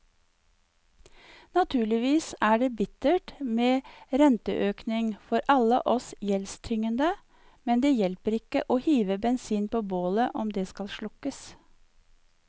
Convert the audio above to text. Naturligvis er det bittert med renteøkning for alle oss gjeldstyngede, men det hjelper ikke å hive bensin på bålet om det skal slukkes.